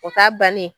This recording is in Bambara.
O t'a bannen